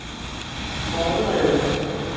forberede